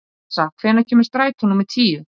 Assa, hvenær kemur strætó númer tíu?